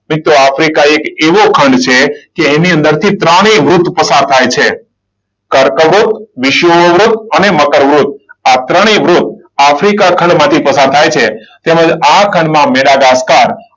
મિત્રો આફ્રિકા એ એક એવો ખંડ છે કે એની અંદરથી ત્રણેય વૃત પસાર થાય છે. કર્કવૃત, વિષુવવૃત અને મકરવૃત આ ત્રણેય વૃત આફ્રિકા ખંડમાંથી પસાર થાય છે. અને તેમજ આ ખંડમાં મેડાઘાસકર,